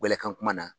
Welekan kuma na